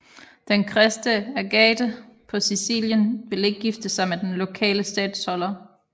Den kristne Agathe på Sicilien vil ikke gifte sig med den lokale statholder